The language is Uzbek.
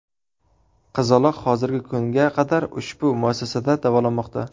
Qizaloq hozirgi kunga qadar ushbu muassasada davolanmoqda.